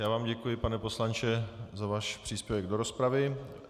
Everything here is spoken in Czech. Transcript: Já vám děkuji, pane poslanče, za váš příspěvek do rozpravy.